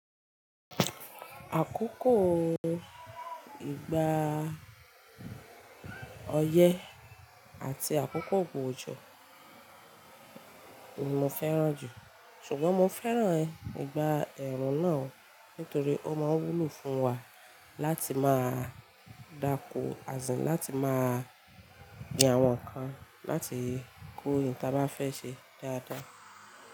Àkókò ìgbà ọyẹ́ àti àkókò òjò ni mo fẹ́ràn jù, ṣùgbọ́n mo fẹ́ràn ìgbà ẹ̀rùn náà nítorí ó máa wúlò fún wa láti máa dáko às in, láti máa gbin àwọn nǹkan, láti kó ohun tí a bá fẹ́ ṣe dáadáa.